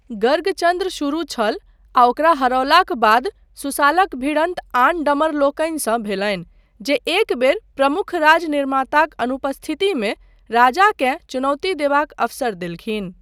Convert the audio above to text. गर्गचन्द्र शुरू छल आ ओकरा हरओलाक बाद सुसालक भिड़न्त आन डमरलोकनिसँ भेलनि जे एक बेर प्रमुख राज निर्माताक अनुपस्थितिमे राजाकेँ चुनौती देबाक अवसर देलखिन।